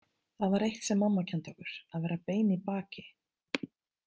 Það var eitt sem mamma kenndi okkur: að vera bein í baki.